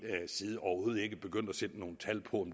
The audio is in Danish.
side overhovedet ikke begyndt at sætte nogen tal på